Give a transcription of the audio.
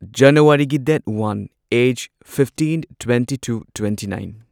ꯖꯅꯨꯋꯥꯔꯤꯒꯤ date one as fifteen twenty two twenty nine